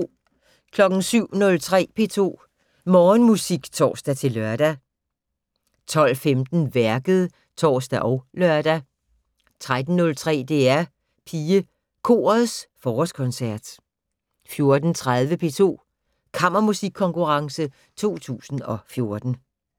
07:03: P2 Morgenmusik (tor-lør) 12:15: Værket (tor og lør) 13:03: DR PigeKorets Forårskoncert 14:30: P2's Kammermusikkonkurrence 2014